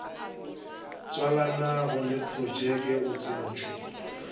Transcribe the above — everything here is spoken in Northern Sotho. tswalanego le projeke o tsentšwe